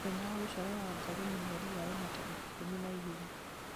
mũthenya wa gũciarwo wa wangarĩ nĩ mweri wa ĩna tarĩki ikũmi na igĩrĩ